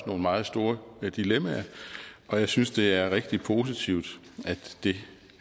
nogle meget store dilemmaer og jeg synes det er rigtig positivt at det